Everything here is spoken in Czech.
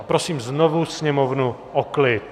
A prosím znovu sněmovnu o klid!